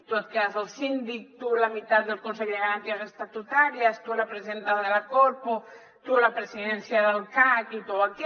tu et quedes el síndic tu la mitat del consell de garanties estatutàries tu la presidència de la corpo tu la presidència del cac i tu aquest